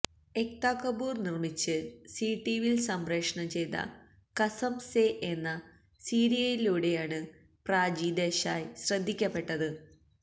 എക്താ കപൂര് നിര്മ്മിച്ച് സീ ടിവിയില് സംപ്രേഷണം ചെയ്ത കസം സേ എന്ന സീരിയലിലൂടെയാണ് പ്രാചി ദേശായ് ശ്രദ്ദിക്കപ്പെട്ടത്